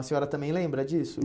A senhora também lembra disso?